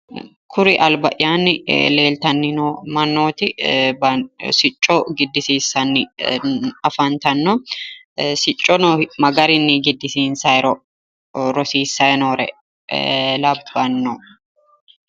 Kuri alba'yaanni leeltanni noo mannooti sicco giddisiissanni afantanno siccono ma gariyinni giddisiinsayiiro rosiissayi noore labbanno